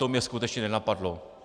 To mě skutečně nenapadlo.